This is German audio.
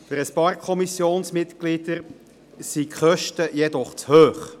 Für ein paar Kommissionsmitglieder sind die Kosten jedoch zu hoch.